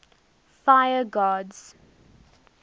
fire gods